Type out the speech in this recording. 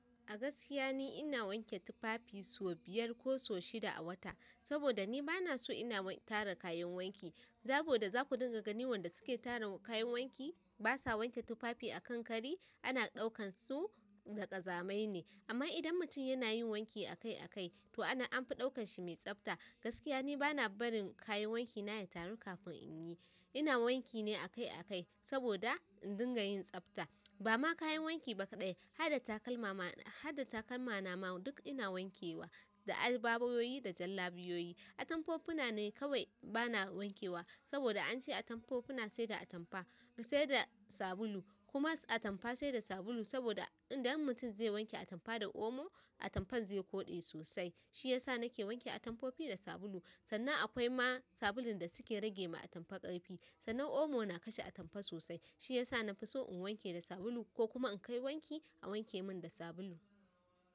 A gaskiya ni ina wanke tufafi sau biyar ko sau shida a wata. Saboda ni bana so ina tara kayan wanki. Saboda za ku dinga ganin wanda suke tara kayan wanki basa wanke tufafi a kan kari ana ɗaukan su da ƙazamai ne. Amman idan mutum yana yin wanki akai akai to ana anfi ɗaukan shi mai tsafta. Gaskiya ni bana barin kayan wanki na ya taru kafin inyi ina wanki ne akai akai saboda in dinga yin tsafta. Ba ma kayan wanki baƙaɗai, ha da takalma ma, har da takalma na ma duk ina wankewa. Da albabayoyi da jallabiyoyi. Atamfofuna ne kawai bana wankewa saboda an ce atamfofina sai da atampa, sai da sabulu. Kuma atampa sai da sabulu saboda idan mutum zai wanke atampa da omo atampan zai koɗe sosai. Shi ya sa na ke wanke atamfofi da sabulu sannan akwai ma sabulun da suke rage ma atampa ƙarfi. Sannan omo na kashe atampa sosai. Shi ya sa na fi so in wanke da sabulu ko kuma in kai wanki a wanke min da sabulu.